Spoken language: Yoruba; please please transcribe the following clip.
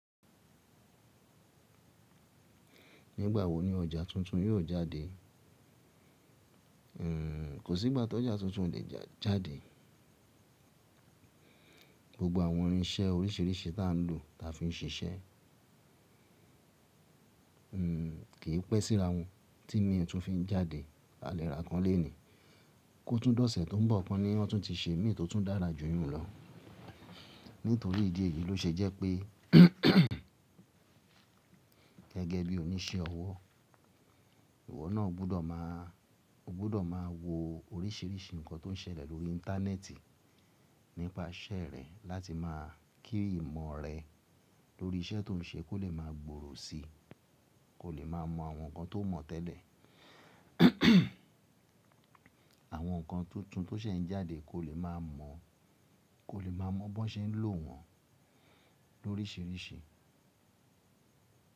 Nígbà wo ni ọjà tuntun yóò jáde? Kò sí ìgbà tó ọjà tuntun o lè jáde. Gbogbo àwọn irinṣẹ́ oríṣiríṣi ta ń lò ta fi ń ṣiṣẹ́. Kì í pẹ́ síra wọn tí mi ẹ́ tún fi ń jáde. A lè ra kán léènì. Kótún dọ́sẹ̀ tó ń bọ̀ kan ni wọn tún ti ṣe mí tó tún dára jù yún lọ. Nítorí ìdí èyí ló ṣe jẹ́ pé gẹ́gẹ́ bí oníṣẹ́ ọwọ́, ìwọ náà ó gbọ́dọ̀ máa wo oríṣiríṣi nǹkan tó ń ṣẹlẹ̀ lórí Íńtánẹ́ẹ̀tì nípa iṣẹ́ rẹ láti máa kí ìmọ̀ rẹ lórí iṣẹ́ tó ń ṣe kó lè máa gbòòrò si. Kó lè máa mọ àwọn nǹkan tó mọ̀ tẹ́lẹ̀. Àwọn nǹkan tuntun tó ṣẹ̀ ń jáde, ko le maa mo. Kó lè máa mọ̀ bó ṣe ń lò wọ́n lóríṣiríṣi.